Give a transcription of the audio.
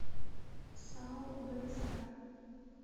сао вск